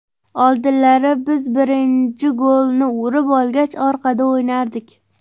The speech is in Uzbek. Oldinlari biz birinchi golni urib olgach, orqada o‘ynardik.